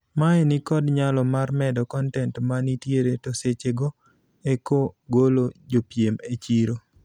Mae ni kod nyalo mar medo kontent ma nitiere to seche go eko golo jopiem e chiro.